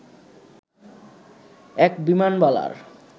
এক বিমানবালার